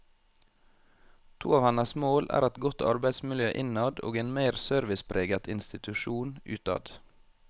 To av hennes mål er et godt arbeidsmiljø innad og en mer servicepreget institusjon utad.